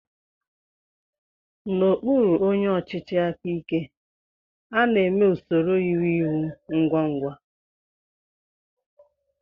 N'okpụrụ onyé ọchịchị áká íké, a na-èmé usoro íwú ịwú ngwa ngwa.